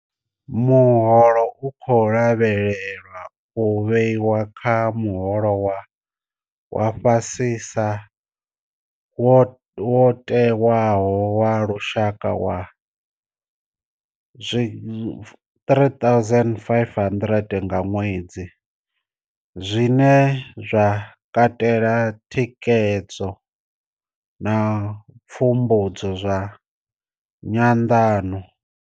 Muholo u khou lavhelelwa u vhewa kha muholo wa fha sisa wo tewaho wa lushaka wa R3 500 nga ṅwedzi, zwine zwa katela thikhedzo na pfumbudzo zwa nyanḓano.